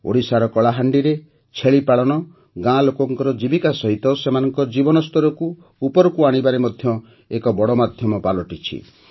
ଓଡ଼ିଶାର କଳାହାଣ୍ଡିରେ ଛେଳି ପାଳନ ଗାଁ ଲୋକଙ୍କର ଜୀବିକା ସହିତ ସେମାନଙ୍କ ଜୀବନ ସ୍ତରକୁ ଉପରକୁ ଆଣିବାରେ ମଧ୍ୟ ଏକ ବଡ଼ ମାଧ୍ୟମ ପାଲଟୁଛି